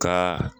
Ka